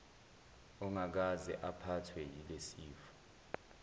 ongakaze aphathwe yilesifo